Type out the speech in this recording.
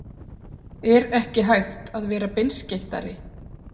Er ekki hægt að vera beinskeyttari?